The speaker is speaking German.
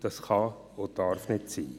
Das kann und darf nicht sein.